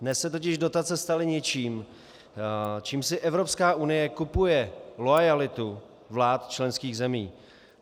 Dnes se totiž dotace staly něčím, čím si Evropská unie kupuje loajalitu vlád členských zemí.